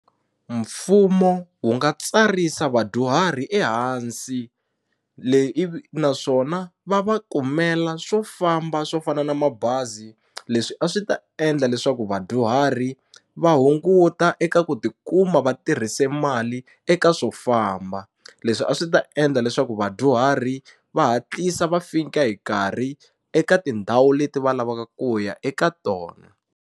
Mfumo wu nga tsarisa vadyuhari ehansi leyi ivi naswona va va kumela swo famba swo fana na mabazi leswi a swi ta endla leswaku vadyuhari va hunguta eka ku tikuma va tirhise mali eka swo famba leswi a swi ta endla leswaku vadyuhari va hatlisa va fika hi nkarhi eka tindhawu leti va lavaka ku ya eka tona.